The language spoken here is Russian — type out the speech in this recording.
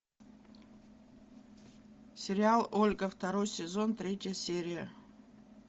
сериал ольга второй сезон третья серия